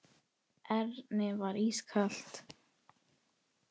Erni var ískalt.